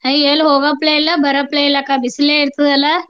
ಅಯ್ಯ ಎಲ್ಲಿ ಹೋಗೋಪ್ಲೆ ಇಲ್ಲ ಬರೊಪ್ಲೇ ಇಲ್ಲ ಅಕ್ಕ ಬಿಸಿಲೇ ಇರ್ತದ ಅಲ.